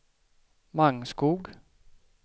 Mangskog